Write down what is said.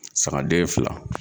Sagaden fila.